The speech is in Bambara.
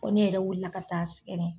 ne yɛrɛ wilila ka taa sɛgɛrɛ.